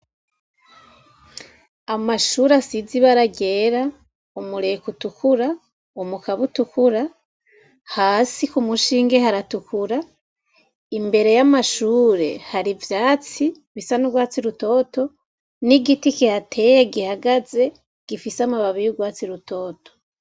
Amashuri asize ibara ryera, umureko utukura, umukabo utukura, hasi ku mushinge haratukura, imbere y'amashure hari vyatsi bisa n'ugwatsi rutoto n'igiti kihateye gihagaze gifise amababi y' ugwatsi rutoto.